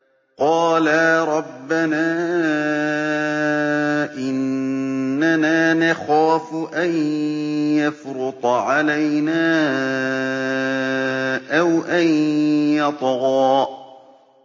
قَالَا رَبَّنَا إِنَّنَا نَخَافُ أَن يَفْرُطَ عَلَيْنَا أَوْ أَن يَطْغَىٰ